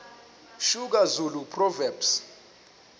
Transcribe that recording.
soga zulu proverbs